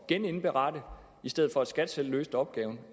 at genindberette i stedet for at skat selv løste opgaven